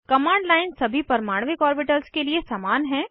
command line सभी परमाणविक orbitals के लिए समान हैं